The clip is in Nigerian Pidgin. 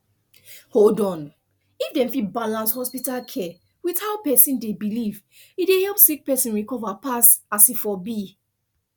hold on if dem fit balance hospital care with how person dey believe e dey help sick person recover pass as e for be